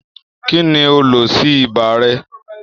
kí ni o lò sí ibà rẹ?